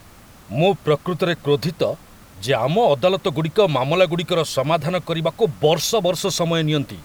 ମୁଁ ପ୍ରକୃତରେ କ୍ରୋଧିତ ଯେ ଆମ ଅଦାଲତଗୁଡ଼ିକ ମାମଲାଗୁଡ଼ିକର ସମାଧାନ କରିବାକୁ ବର୍ଷ ବର୍ଷ ସମୟ ନିଅନ୍ତି।